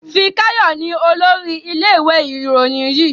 Fikayo ní olórí ilé ìwé Ìròyìn yí.